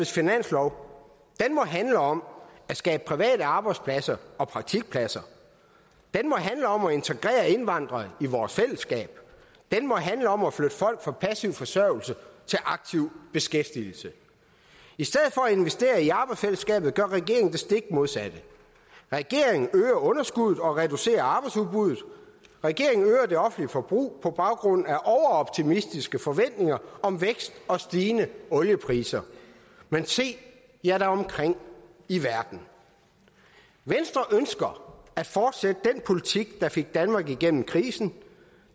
finanslov må handle om at skabe private arbejdspladser og praktikpladser den må handle om at integrere indvandrere i vores fællesskab den må handle om at flytte folk fra passiv forsørgelse til aktiv beskæftigelse i stedet for at investere i arbejdsfællesskabet gør regeringen det stik modsatte regeringen øger underskuddet og reducerer arbejdsudbuddet regeringen øger det offentlige forbrug på baggrund af overoptimistiske forventninger om vækst og stigende oliepriser men se jer da omkring i verden venstre ønsker at fortsætte den politik der fik danmark igennem krisen